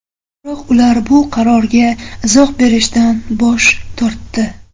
Biroq ular bu qarorga izoh berishdan bosh tortdi.